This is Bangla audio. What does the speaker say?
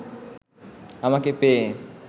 আমাকে পেয়ে